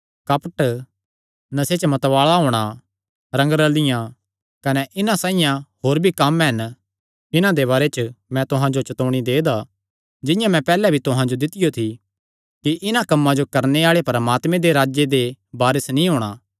कपट नशे च मतवाल़ा होणा रंगरल़ियाँ कने इन्हां साइआं होर भी कम्म हन इन्हां दे बारे च मैं तुहां जो चतौणी दे दा ऐ जिंआं मैं पैहल्लैं भी तुहां जो दित्तियो थी कि इन्हां कम्मां जो करणे आल़ेआं परमात्मे दे राज्जे दे वारस नीं होणा